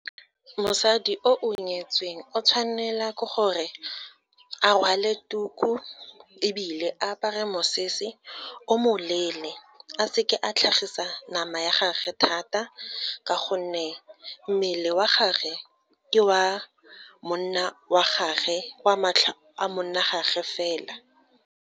Mosadi o o nyetsweng, o tshwanela ke gore a rwale tuku, ebile apare mosese o moleele, a seke a tlhagisa nama ya gage thata, ka gonne mmele wa gage ke wa monna wa gagwe, o a matlho a monna wa gage fela.